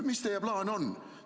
Mis teie plaan on?